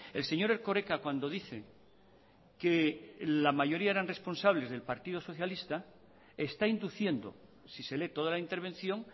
el señor erkoreka cuando dice que la mayoría eran responsables del partido socialista está induciendo si se lee toda la intervención